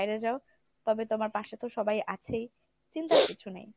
বাইরে যাও তবে তোমার পাশে তো সবাই আছেই চিন্তার কিছু নেই।